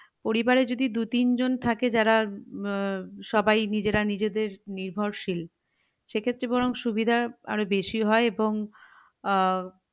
পরিবারে যদি দু তিনজন থাকে যারা আহ সবাই নিজেরা নিজেদের নির্ভরশীল সেক্ষেত্রে বরং সুবিধা আরো বেশি হয় এবং আহ